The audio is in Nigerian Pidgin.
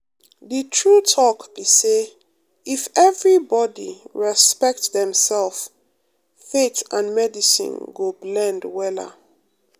the true talk be say if everybody respect dem self faith and medicine go blend wella.